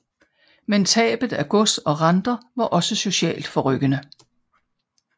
Men tabet af gods og renter var også socialt forrykkende